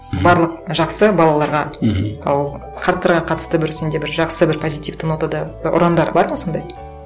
мхм барлық жақсы балаларға мхм ал қарттарға қатысты бір сенде бір жақсы бір позитивті нотада ұрандар бар ма сондай